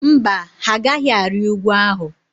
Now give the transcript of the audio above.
Mba, ha agaghị arị ugwu ahụ.